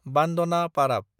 बान्दना पाराब